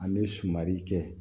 An bɛ sumanli kɛ